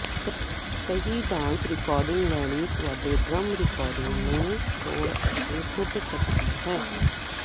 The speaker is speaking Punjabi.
ਸਹੀ ਡਾਂਸ ਰਿਕਾਰਡਿੰਗ ਲੈਣੀ ਤੁਹਾਡੇ ਡ੍ਰਮ ਰਿਕਾਰਡਿੰਗ ਨੂੰ ਤੋੜ ਅਤੇ ਟੁੱਟ ਸਕਦੀ ਹੈ